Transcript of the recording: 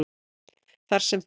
Þar sem þú